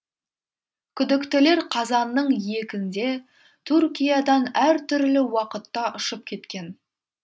күдіктілер қазанның екінде түркиядан әр түрлі уақытта ұшып кеткен